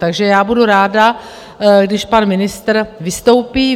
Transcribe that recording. Takže já budu ráda, když pan ministr vystoupí.